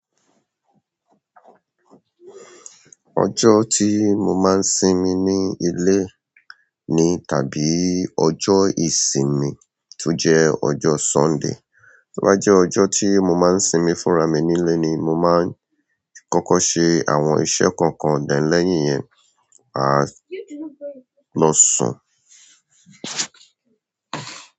Ọjọ́ tí mo máa ń sinmi ní ilé ni tàbí ọjọ́ ìsinmi tó jẹ́ ọjọ́ Sunday. Tó bá jẹ́ ọjọ́ tí mo máa ń sinmi fúnra mi nílé ni mo máa ń kọ́kọ́ ṣe àwọn iṣẹ́ kọ̀ọ̀kan then lẹ́yìn yẹn, a lọ sùn.